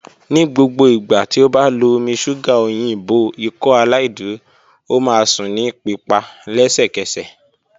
Ni gbogbo igba ti o ba lo omi ṣuga oyinbo Ikọaláìdúró, o ma sun ni pipa lẹsẹkẹsẹ